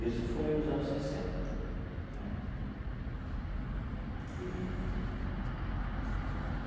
Isso foi nos anos sessenta né eee.